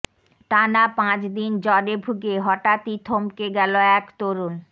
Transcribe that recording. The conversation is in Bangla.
টানা পাঁচ দিন জ্বরে ভুগে হঠাৎই থমকে গেল এক তরুণ